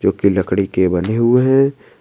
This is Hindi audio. जो कि लकड़ी के बने हुए हैं।